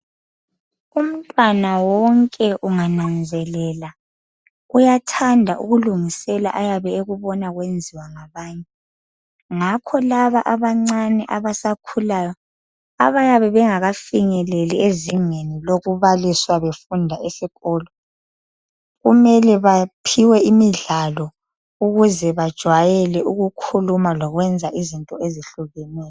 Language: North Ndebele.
Umntwana wonke ungananzelela uyathanda ukulungusela okuboba kusenziwa ngabanye ngakho laba abancane abasakhulayo abayabe bengakafinyeleli ezingeni lokubaliswa befunda esikolo kumele baphiwe imidlalo ukuze bajwayeke ukukhuluma lokwenza izinto ezihlukeneyo.